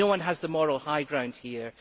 No one has the moral high ground here